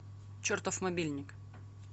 чертов мобильник